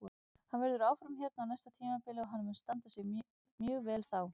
Hann verður áfram hérna á næsta tímabili og hann mun standa sig mjög vel þá.